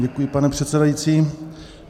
Děkuji, pane předsedající.